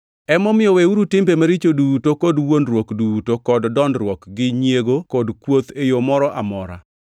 Emomiyo weuru timbe maricho duto kod wuondruok duto, kod dondruok, gi nyiego kod kuoth e yo moro amora.